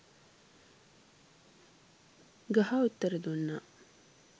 ගහ උත්තර දුන්නා.